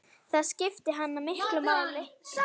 Það skipti hana miklu máli.